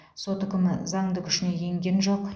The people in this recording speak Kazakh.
сот үкімі заңды күшіне енген жоқ